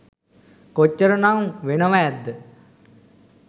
කොච්චර නම් වෙනව ඇත්ද